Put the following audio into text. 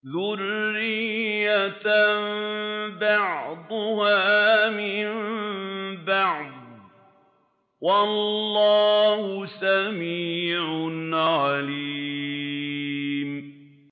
ذُرِّيَّةً بَعْضُهَا مِن بَعْضٍ ۗ وَاللَّهُ سَمِيعٌ عَلِيمٌ